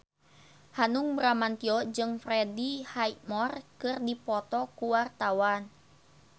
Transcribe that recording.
Hanung Bramantyo jeung Freddie Highmore keur dipoto ku wartawan